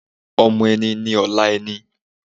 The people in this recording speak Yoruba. Ọmọ ẹni ni ọ̀la ẹni